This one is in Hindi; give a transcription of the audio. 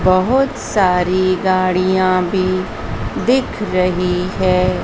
बहोत सारी गाड़ियां भी दिख रही है।